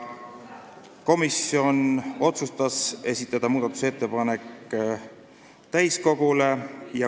Komisjon otsustas esitada muudatusettepaneku täiskogule.